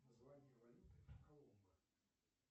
название валюты коломбо